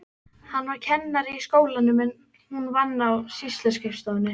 Hann var kennari í skólanum en hún vann á sýsluskrifstofunni.